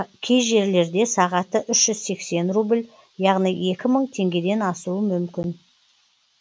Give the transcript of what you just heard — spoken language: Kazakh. кей жерлерде сағаты үш жүз сексен рубль яғни екі мың теңгеден асуы мүмкін